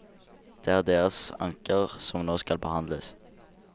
Det er deres anker som nå skal behandles.